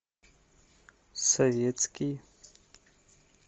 советский